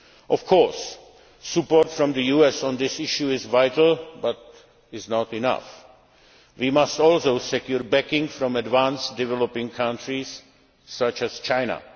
ahead here. Of course, support from the US on this issue is vital, but it is not enough. We must also secure backing from advanced developing countries such